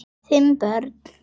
Fimm börn